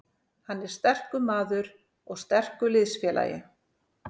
Hann er sterkur maður og sterkur liðsfélagi.